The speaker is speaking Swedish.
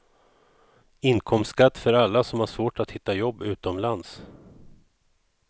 Inkomstskatt för alla som har svårt att hitta jobb utomlands.